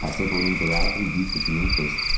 Passei por um teatro e vi que tinha um teste.